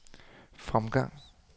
fremgang